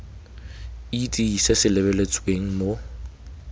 itse se se lebeletsweng mo